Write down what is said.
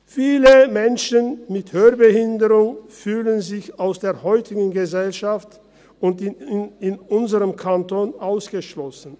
Viele Menschen mit Hörbehinderung fühlen sich aus der heutigen Gesellschaft und in unserem Kanton ausgeschlossen.